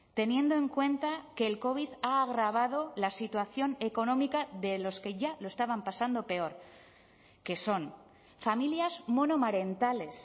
teniendo en cuenta que el covid ha agravado la situación económica de los que ya lo estaban pasando peor que son familias monomarentales